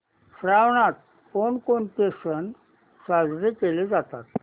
श्रावणात कोणकोणते सण साजरे केले जातात